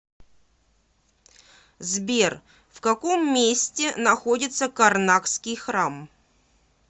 сбер в каком месте находится карнакский храм